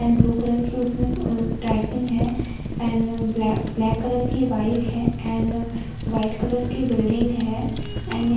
and blue colour की उसमे typing है एंड ब्लैक ब्लैक कलर की बाइक है एंड वाइट कलर की बिल्डिंग है एंड --